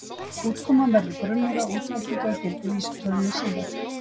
Útkoman verður grunnur að útreikningi á gildi vísitölunnar síðar.